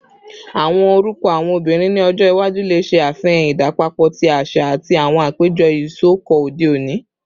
Awọn orukọ awọn obinrin ni ọjọ iwaju le ṣe afihan idapọpọ ti aṣa ati awọn apejọ isọkọ ode oni